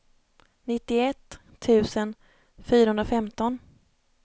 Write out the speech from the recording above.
nittioett tusen fyrahundrafemton